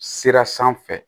Sira sanfɛ